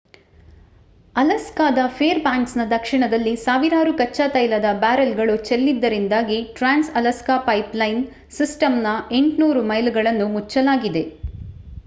ಅಲಾಸ್ಕಾದ ಫೇರ್‌ಬ್ಯಾಂಕ್ಸ್‌ನ ದಕ್ಷಿಣದಲ್ಲಿ ಸಾವಿರಾರು ಕಚ್ಚಾ ತೈಲದ ಬ್ಯಾರೆಲ್‌ಗಳು ಚೆಲ್ಲಿದ್ದರಿಂದಾಗಿ ಟ್ರಾನ್ಸ್‌ ಅಲಾಸ್ಕಾ ಪೈಪ್‌ಲೈನ್‌ ಸಿಸ್ಟಂನ 800 ಮೈಲುಗಳನ್ನು ಮುಚ್ಚಲಾಗಿದೆ